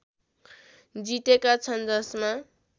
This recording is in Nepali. जितेका छन् जसमा